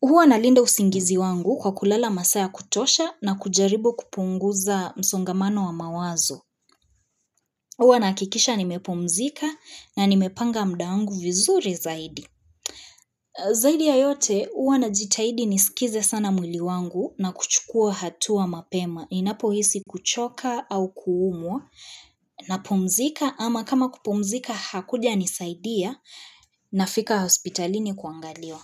Huwa nalinda usingizi wangu kwa kulala masaa ya kutosha na kujaribu kupunguza msongamano wa mawazo. Huwa nahakikisha nimepumzika na nimepanga muda wangu vizuri zaidi. Zaidi ya yote huwa najitahidi nisikize sana mwili wangu na kuchukua hatua mapema. Ninapohisi kuchoka au kuumwa napumzika ama kama kupumzika hakujanisaidia nafika hospitalini kuangaliwa.